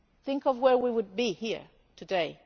Think of where we would be here today.